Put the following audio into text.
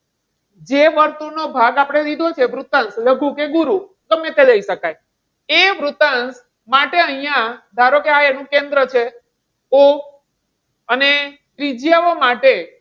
જે વર્તુળનો ભાગ આપણે લીધો છે, વૃતાંશ. લઘુ કે ગુરુ ગમે તે લઈ શકાય. એ વૃતાંશ માટે અહીંયા ધારો કે આ એનું કેન્દ્ર છે O. અને ત્રિજ્યાઓ માટે,